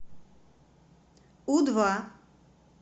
у два